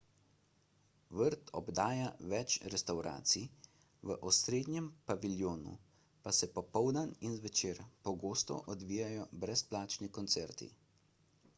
vrt obdaja več restavracij v osrednjem paviljonu pa se popoldan in zvečer pogosto odvijajo brezplačni koncerti